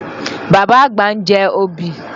Bàbá àgbà ń jẹ obì.